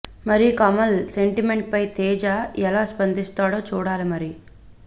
మరి కమల్ స్టేట్మెంట్ పై తేజ ఎలా స్పందిస్తాడో చూడాలి మరి